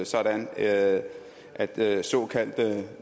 sådan at at såkaldte